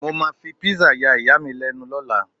mo ma fi pizza ya iya mi lẹnu ni ọlá